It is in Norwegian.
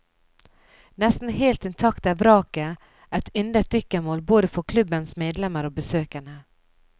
Nesten helt inntakt er vraket et yndet dykkemål både for klubbens medlemmer og besøkende.